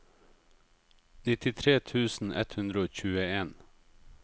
nittitre tusen ett hundre og tjueen